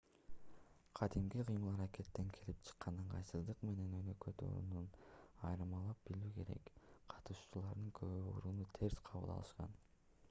кадимки кыймыл-аракеттен келип чыккан ыңгайсыздык менен өнөкөт ооруну айырмалап билүү керек эле катышуучулардын көбү ооруну терс кабыл алышкан